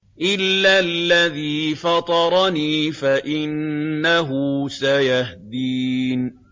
إِلَّا الَّذِي فَطَرَنِي فَإِنَّهُ سَيَهْدِينِ